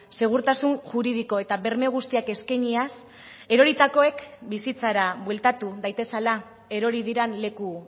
segurtasun juridiko eta berme guztiak eskainiaz eroritakoek bizitzara bueltatu daitezela erori diren leku